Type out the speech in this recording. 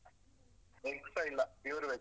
Egg ಇಲ್ಲ pure veg.